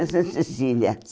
Em Santa Cecília.